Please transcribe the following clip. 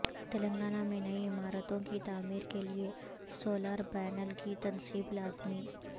تلنگانہ میں نئی عمارتوں کی تعمیر کے لیے سولار پیانل کی تنصیب لازمی